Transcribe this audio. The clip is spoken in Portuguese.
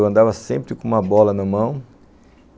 Eu andava sempre com uma bola na mão.